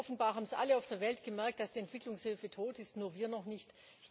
Offenbar haben es alle auf der Welt gemerkt, dass die Entwicklungshilfe tot ist, nur wir noch nicht.